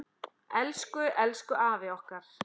Elsku, elsku afi okkar.